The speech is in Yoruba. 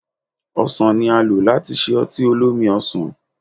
Ọsan ni a lò láti ṣe ọtí olómi-ọsàn